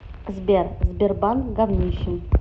сбер сбербанк говнище